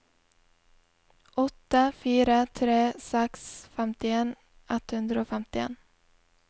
åtte fire tre seks femtien ett hundre og femtien